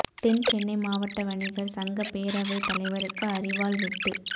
தென் சென்னை மாவட்ட வணிகர் சங்க பேரவை தலைவருக்கு அரிவாள் வெட்டு